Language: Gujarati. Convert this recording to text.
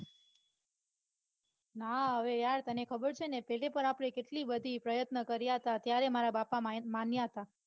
ના હવે યાર તને ખબર છે ને તે દી પણ આપડે કેટલી બધા પ્રયત્ન કર્યા તા ત્યારે મારા બાપા માન્યતા.